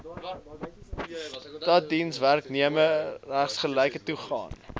staatsdienswerknemers gelyke toegang